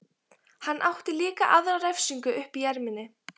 Hann átti líka aðra refsingu uppi í erminni.